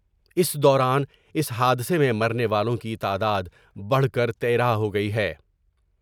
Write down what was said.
اس دوران اس حادثہ میں مرنے والوں کی تعداد بڑھ کر تیرہ ہوگئی ہے ۔